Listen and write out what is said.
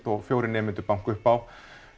og fjórir nemendur banka upp á